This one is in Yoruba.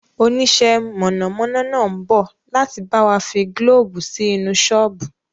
Onisẹ́ mọ̀nàmọ́ná náà ń bọ̀ láti bawa fi gílóóbù sí inú sọ́ọ́bù